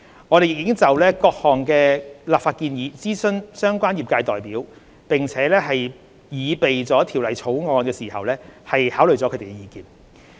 我們亦已就各項立法建議諮詢相關業界代表，並在擬備《條例草案》時考慮了他們的意見。